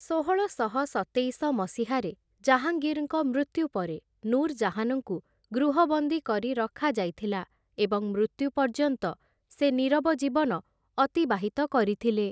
ଷୋହଳଶହ ସତେଇଶ ମସିହାରେ ଜାହାଙ୍ଗୀର୍‌ଙ୍କ ମୃତ୍ୟୁ ପରେ ନୁରଜାହାନ୍‌ଙ୍କୁ ଗୃହବନ୍ଦୀ କରି ରଖାଯାଇଥିଲା ଏବଂ ମୃତ୍ୟୁ ପର୍ଯ୍ୟନ୍ତ ସେ ନୀରବ ଜୀବନ ଅତିବାହିତ କରିଥିଲେ ।